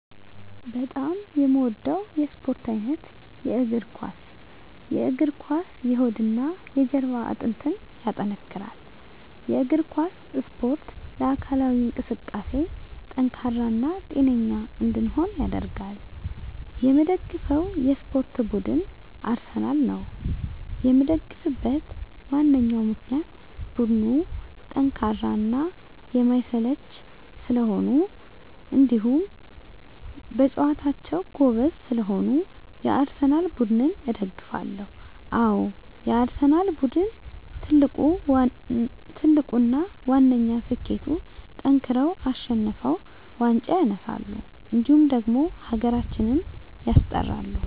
በጣም የምወደው የስፓርት አይነት የእግር ኳስ። የእግር ኳስ የሆድና የጀርባ አጥንትን ያጠነክራል። የእግር ኳስ እስፖርት ለአካላዊ እንቅስቃሴ ጠንካራ እና ጤነኛ እንድንሆን ያደርጋል። የምደግፈው የስፓርት ቡድን አርሰናል ነው። የምደግፍበት ዋነኛ ምክንያት ቡድኑ ጠንካራና የማይሰለች ስለሆኑ እንዲሁም በጨዋታቸው ጎበዝ ስለሆኑ የአርሰናል ቡድንን እደግፋለሁ። አዎ የአርሰናል ቡድን ትልቁና ዋነኛ ስኬቱጠንክረው አሸንፈው ዋንጫ ያነሳሉ እንዲሁም ደግሞ ሀገራችንም ያስጠራሉ።